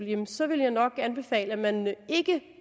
jamen så ville jeg nok anbefale at man ikke